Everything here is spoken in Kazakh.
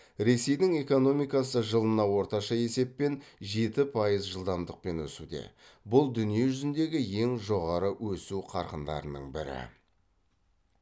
ресейдің экономикасы жылына орташа есеппен жеті пайыз жылдамдықпен өсуде бұл дүние жүзіндегі ең жоғары өсу қарқындарының бірі